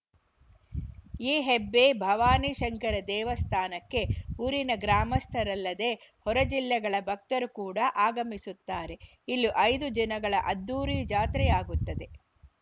ಈ ಹೆಬ್ಬೆ ಭವಾನಿ ಶಂಕರ ದೇವಸ್ಥಾನಕ್ಕೆ ಊರಿನ ಗ್ರಾಮಸ್ಥರಲ್ಲದೇ ಹೊರ ಜಿಲ್ಲೆಗಳ ಭಕ್ತರು ಕೂಡ ಆಗಮಿಸುತ್ತಾರೆ ಇಲ್ಲಿ ಐದು ಜ ನಗಳ ಅದ್ಧೂರಿ ಜಾತ್ರೆಯಾಗುತ್ತದೆ